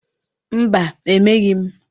Mba, emeghị m.